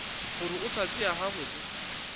gore o sa tšea gabotse